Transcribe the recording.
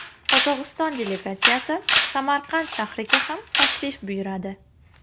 Qozog‘iston delegatsiyasi Samarqand shahriga ham tashrif buyuradi.